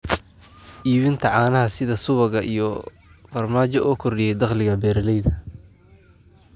Iibinta caanaha sida subagga iyo farmaajo oo kordhiya dakhliga beeralayda.